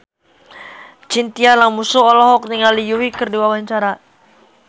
Chintya Lamusu olohok ningali Yui keur diwawancara